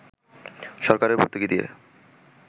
সরকারকে ভর্তুকি দিয়ে